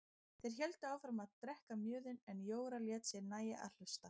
Þeir héldu áfram að drekka mjöðinn en Jóra lét sér nægja að hlusta.